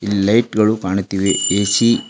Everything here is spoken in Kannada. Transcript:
ಲೈಟ್ ಗಳು ಕಾಣುತ್ತಿವೆ ಎ_ಸಿ --